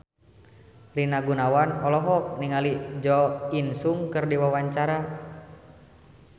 Rina Gunawan olohok ningali Jo In Sung keur diwawancara